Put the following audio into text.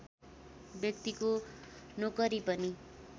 व्यक्तिको नोकरी पनि